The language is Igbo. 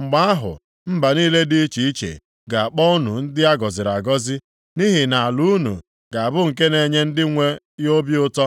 “Mgbe ahụ, mba niile dị iche iche ga-akpọ unu ndị a gọziri agọzi, nʼihi na ala unu ga-abụ nke na-enye ndị nwe ya obi ụtọ.”